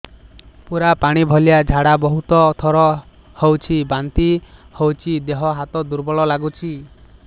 ପୁରା ପାଣି ଭଳିଆ ଝାଡା ବହୁତ ଥର ହଉଛି ବାନ୍ତି ହଉଚି ଦେହ ହାତ ଦୁର୍ବଳ ଲାଗୁଚି